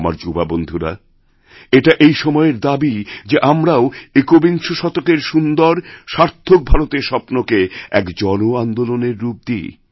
আমার যুবাবন্ধুরা এটা এই সময়ের দাবী যে আমরাওএকবিংশ শতকের সুন্দর সার্থক ভারতের স্বপ্নকে এক জন আন্দোলনের রূপ দিই